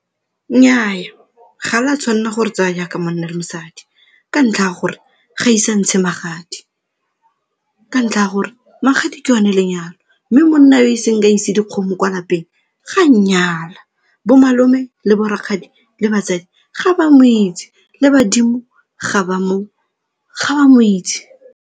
Nnyaa, ga le a tshwanela gore tsaya jaaka monna le mosadi ka ntlha ya gore ga ise a ntshe magadi, ka ntlha ya gore magadi ke o ne lenyalo mme monna yo iseng a ise dikgomo kwa lapeng ga a nnyala. Bomalome le borakgadi le batsadi ga ba mo itse le badimo ga ba mo itse.